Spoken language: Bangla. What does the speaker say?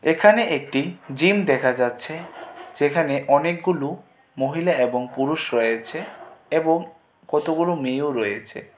এখানে একটি জিম দেখা যাচ্ছে সেখানে অনেকগুলো মহিলা এবং পুরুষ রয়েছে এবং কতগুলো মেয়েও রয়েছে।